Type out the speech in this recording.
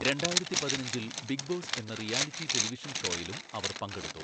രണ്ടായിരത്തിപതിനഞ്ചിൽ Big Boss എന്ന reality television ഷോയിലും അവർ പങ്കെടുത്തു.